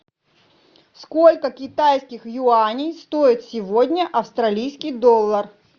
сколько китайских юаней стоит сегодня австралийский доллар